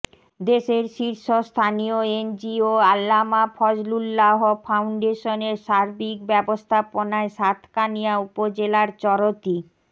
দেশের শীর্ষ স্থানীয় এনজিও আল্লামা ফজলুল্লাহ ফাউন্ডেশনের সার্বিক ব্যবস্থাপনায় সাতকানিয়া উপজেলার চরতী